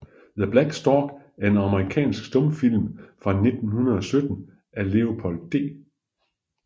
The Black Stork er en amerikansk stumfilm fra 1917 af Leopold D